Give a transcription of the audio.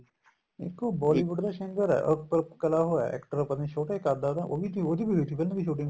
ਇੱਕ ਉਹ Bollywood ਦਾ singer ਏ ਅਹ ਕਲਾ ਹੋਇਆ actor ਪਤਾ ਨੀਂ ਛੋਟੇ ਕੱਧ ਦਾ ਉਹੀ ਸੀ ਉਹਦੀ ਵੀ ਹੋਈ ਸੀ film ਦੀ shooting